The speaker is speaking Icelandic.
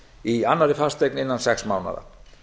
í annarri fasteign innan sex mánaða